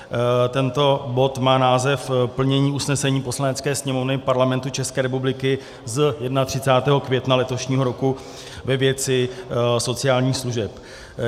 Tento bod má název Plnění usnesení Poslanecké sněmovny Parlamentu České republiky z 31. května letošního roku ve věci sociálních služeb.